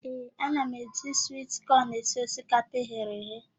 Ee, ana m eji swit kọn esi osikapa eghere eghe.